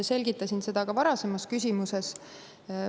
Selgitasin seda ka ühe varasema küsimuse puhul.